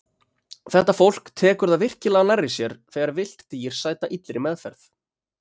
Þetta fólk tekur það virkilega nærri sér þegar villt dýr sæta illri meðferð.